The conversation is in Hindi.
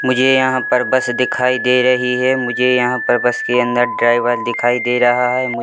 मुझे यहाँ पर बस दिखाई दे रही है मुझे यहैं पर बस के अंदर ड्राईवर दिखाई दे रहा है मुझे --